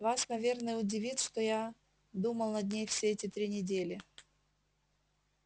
вас наверное удивит что я думал над ней все эти три недели